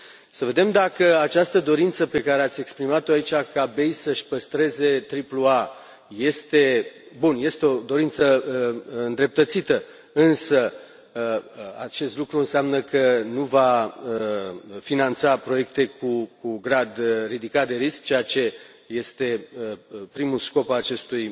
Să vedem dacă această dorință pe care ați exprimat o aici, ca BEI să și păstreze triplul A, este bun, este o dorință îndreptățită însă acest lucru înseamnă că nu va finanța proiecte cu grad ridicat de risc, ceea ce este primul scop al acestui